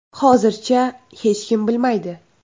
Hozircha hech kim bilmaydi.